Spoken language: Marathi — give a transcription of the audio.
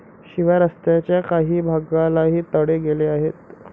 शिवाय रस्त्याच्या काही भागालाही तडे गेले आहेत.